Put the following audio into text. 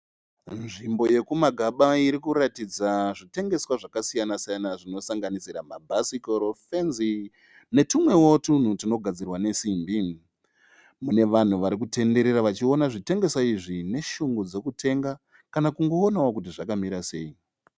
Nzvimbo yekuMagaba irikuratidza zvitengeswa zvakasiyana-siyana zvinosanganisira mabhasikoro, fenzi netumwevo twunhu twunogadzirwa nesimbi. Mune vanhu varikutenderera vachiona zvitengeswa izvi neshungu dzokutenga kana kungoonawo kuti zvakamira sei.